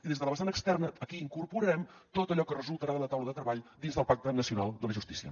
i des de la vessant externa aquí incorporarem tot allò que resultarà de la taula de treball dins del pacte nacional de la justícia